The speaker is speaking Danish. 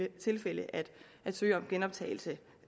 tilfælde at søge om genoptagelse